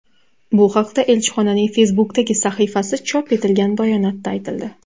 Bu haqda elchixonaning Facebook’dagi sahifasi chop etilgan bayonotda aytildi .